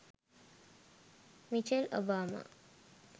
micheal obama